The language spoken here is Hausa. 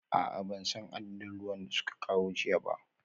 A'a ban san adadin ruwan da suka kawo jiya ba